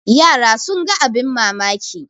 yara sun ga abin mamaki